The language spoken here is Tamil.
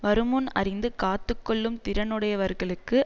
வருமுன் அறிந்து காத்து கொள்ளும் திறனுடையவர்களுக்கு